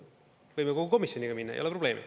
Võime kogu komisjoniga minna, ei ole probleemi.